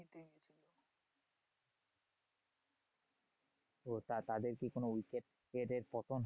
তো তা তাদের কি কোনো wicket কি এদের পতন